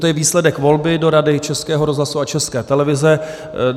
To je výsledek volby do Rady Českého rozhlasu a České televize.